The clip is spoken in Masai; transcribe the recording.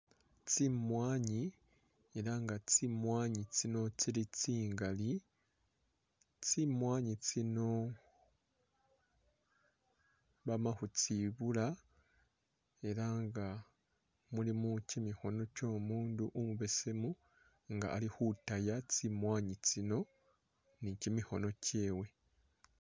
Tsimwanyi elah nga tsimwanyi tsino tsili tsingali tsimwanyi tsino bamakhutsibula elah nga mulimo kimikhono kyo'mundu umubesemu nga alikhutaya tsimwanyi tsino ni'kyimikhono kyewe